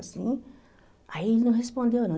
Assim. Aí ele não respondeu, não.